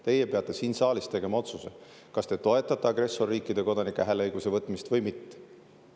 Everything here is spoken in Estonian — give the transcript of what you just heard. Teie peate siin saalis tegema otsuse, kas te toetate agressorriikide kodanikelt hääleõiguse võtmist või mitte.